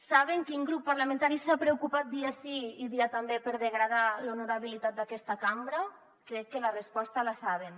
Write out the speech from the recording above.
saben quin grup parlamentari s’ha preocupat dia sí i dia també per degradar l’honorabilitat d’aquesta cambra crec que la resposta la saben